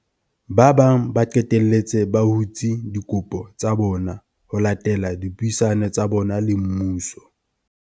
Ba bang ba qetelletse ba hutse dikopo tsa bona ho latela dipuisano tsa bona le mmuso.